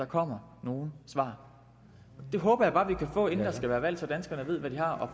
kommet nogen svar det håber jeg bare vi kan få inden der skal være valg så danskerne ved hvad de har